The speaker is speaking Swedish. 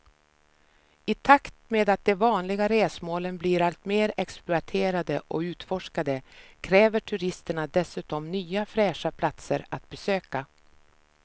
I takt med att de vanliga resmålen blir allt mer exploaterade och utforskade kräver turisterna dessutom nya fräscha platser att besöka.